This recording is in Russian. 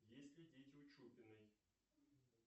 есть ли дети у чупиной